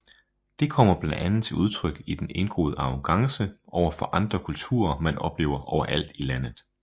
Det kommer blandt andet til udtryk i den indgroede arrogance overfor andre kulturer man oplever overalt i landet